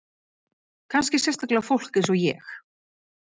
Kannski sérstaklega fólk eins og ég.